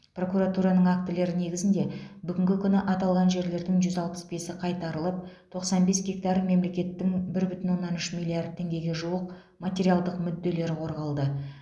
прокуратураның актілері негізінде бүгінгі күні аталған жерлердің жүз алпыс бесі қайтарылып тоқсан бес гектар мемлекеттің бір бүтін оннан үш миллиард теңгеге жуық материалдық мүдделері қорғалды